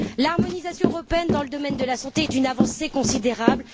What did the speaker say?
L'harmonisation européenne dans le domaine de la santé est une avancée considérable.